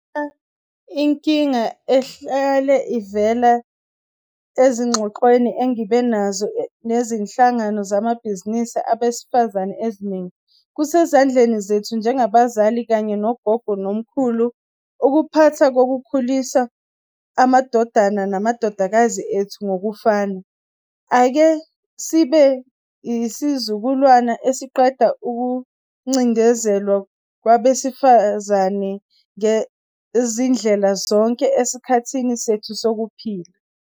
Lena inkinga ehlale ivela ezingxoxweni engibe nazo nezinhlangano zamabhizinisi abesifazane eziningi. Kusezandleni zethu njengabazali kanye nogogo nomkhulu ukuphatha nokukhulisa amadodana namadodakazi ethu ngokufana. Ake sibe isizukulwana esiqeda ukucindezelwa kwabesifazane ngezindlela zonke, esikhathini sethu sokuphila.